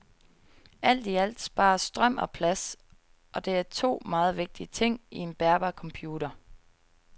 Alt i alt spares strøm og plads, og det er to meget vigtige ting i en bærbar computer.